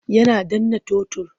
Yana danna totur.